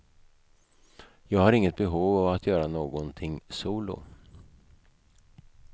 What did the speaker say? Jag har inget behov av att göra någonting solo.